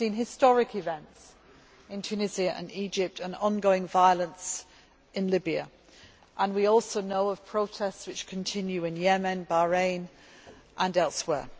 We have seen historic events in Tunisia and Egypt and ongoing violence in Libya, and we also know of protests which continue in Yemen, Bahrain and elsewhere.